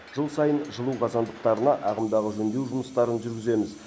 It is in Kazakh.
жыл сайын жылу қазандықтарына ағымдағы жөндеу жұмыстарын жүргіземіз